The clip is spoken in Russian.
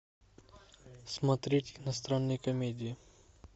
смотреть иностранные комедии